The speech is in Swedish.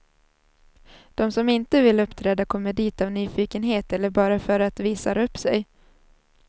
De som inte vill uppträda kommer dit av nyfikenhet eller bara för att visar upp sig.